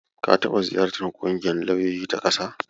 La taɓa ziyartar ƙungiyar lauyoyi ta ƙasa?